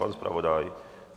Pan zpravodaj?